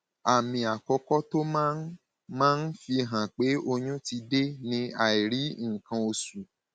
àmì àkọkọ tó máa ń máa ń fihàn pé oyún ti dé ni àìrí nǹkan oṣù